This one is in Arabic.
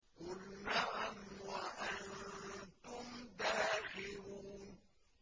قُلْ نَعَمْ وَأَنتُمْ دَاخِرُونَ